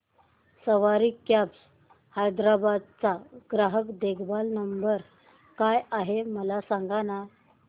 सवारी cabs Hyderabad चा ग्राहक देखभाल नंबर काय आहे मला सांगाना